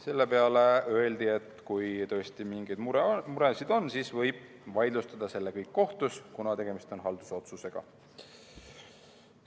Selle peale öeldi, et kui tõesti mingeid muresid on, siis võib selle kõik vaidlustada kohtus, kuna tegemist on haldusotsusega.